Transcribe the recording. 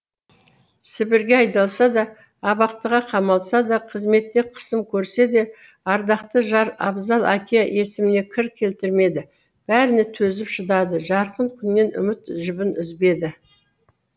сібірге айдалса да абақтыға қамалса да қызметте қысым көрсе де ардақты жар абзал әке есіміне кір келтірмеді бәріне төзіп шыдады жарқын күннен үміт жібін үзбеді